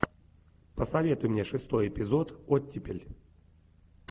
посоветуй мне шестой эпизод оттепель